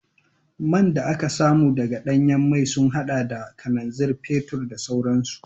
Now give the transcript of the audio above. Man da aka samu daga danyen mai sun hada da kananzir, fetur da sauransu